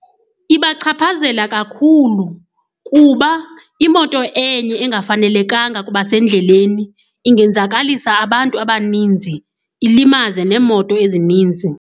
Ibachaphazela kakhulu kuba imoto enye engafanelekanga kubasendleleni ingenzakalisa abantu abaninzi, ilimaze neemoto ezininzi.